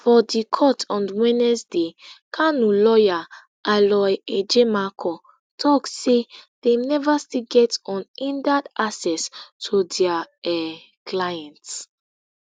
for di court on wednesday kanu lawyer aloy ejimakor tok say dem neva still get unhindered access to dia um client